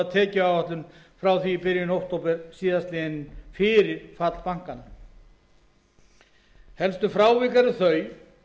tekjuáætlun frá því í byrjun október síðastliðnum fyrir fall bankanna helstu frávik eru þau